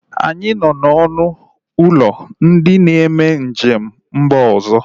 Anyị nọ na ọnụ ụlọ ndị na-eme njem n'mba ọzọ